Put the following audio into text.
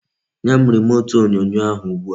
Nyem remut onyonyo ahu ugbua